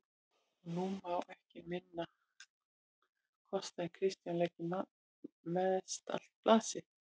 Og nú má ekki minna kosta en Kristján leggi mestallt blað sitt